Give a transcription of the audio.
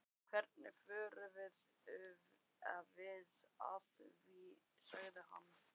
Hvernig förum við að því? sagði hann.